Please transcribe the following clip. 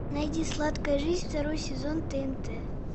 найди сладкая жизнь второй сезон тнт